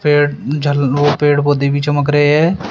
पेड़ झाल ओ पेड़ पौधे भी चमक रहे हैं।